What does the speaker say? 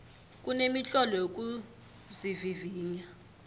kunemitlolo yokuzivivinya